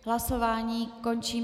Hlasování končím.